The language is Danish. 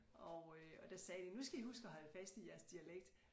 Og øh og der sagde de nu skal I huske at holde fast i jeres dialekt